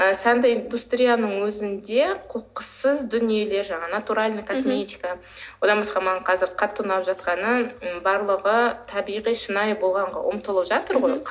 і сәнді индустрияның өзінде қоқыссыз дүниелер жаңағы натуральная косметика одан басқа маған қазір қатты ұнап жатқаны барлығы табиғи шынайы болғанға ұмтылып жатыр ғой мхм